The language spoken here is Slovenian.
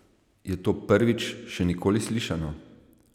Je to prvič, še nikoli slišano?